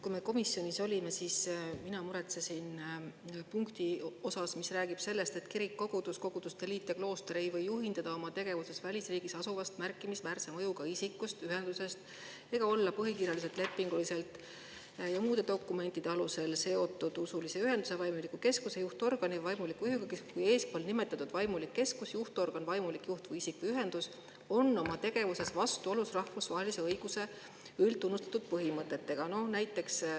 Kui me komisjonis olime, siis mina muretsesin punkti pärast, mis räägib sellest, et kirik, kogudus, koguduste liit ja klooster ei või juhinduda oma tegevuses välisriigis asuvast märkimisväärse mõjuga isikust või ühendusest ega olla põhikirjaliselt, lepinguliselt ja muude dokumentide alusel seotud usulise ühenduse, vaimuliku keskuse, juhtorgani või vaimuliku juhiga, kui eespool nimetatud vaimulik keskus, juhtorgan, vaimulik juht, isik või ühendus on oma tegevuses vastuolus rahvusvahelise õiguse üldtunnustatud põhimõtetega.